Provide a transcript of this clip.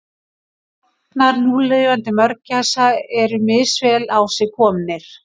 Stofnar núlifandi mörgæsa eru misvel á sig komnir.